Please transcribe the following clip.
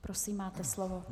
Prosím, máte slovo.